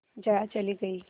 जया चली गई